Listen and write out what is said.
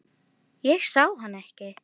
Ég sá hann ekki.